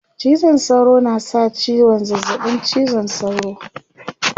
cizon sauro na sa ciwon zazzaɓin cizon sauro